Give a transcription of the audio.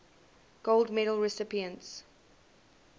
gold medal recipients